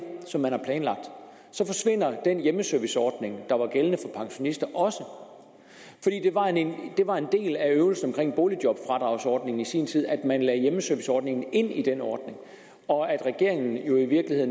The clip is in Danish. som man har planlagt så forsvinder den hjemmeserviceordning der var gældende for pensionister også det var en del af øvelsen omkring boligjobfradragsordningen i sin tid at man lagde hjemmeserviceordningen ind i den ordning og